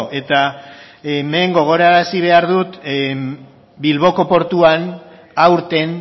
eta hemen gogoarazi behar dut bilboko portuan aurten